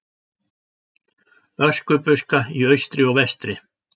Öskubuska í austri og vestri.